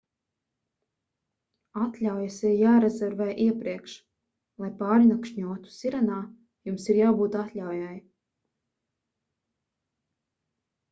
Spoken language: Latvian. atļaujas ir jārezervē iepriekš lai pārnakšņotu sirenā jums ir jābūt atļaujai